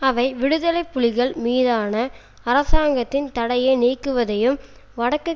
அவை விடுதலை புலிகள் மீதான அரசாங்கத்தின் தடையை நீக்குவதையும் வடக்குக்